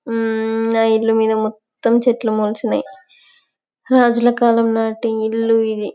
ఆ ఆ ఇల్లు మీద మొత్తం చెట్లు మొలిచినై రాజుల కాలం నటి ఇల్లు ఇది.